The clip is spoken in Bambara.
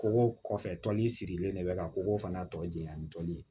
Kogo kɔfɛ tɔnni sirilen de bɛ ka kɔgɔ fana tɔ jiyan ni tɔli ye